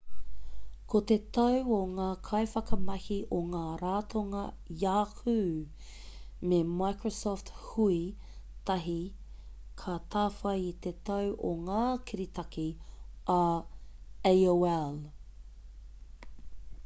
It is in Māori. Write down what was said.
ko te tau o ngā kaiwhakamahi o ngā ratonga yahoo me microsoft hui tahi ka tāwhai i te tau o ngā kiritaki a aol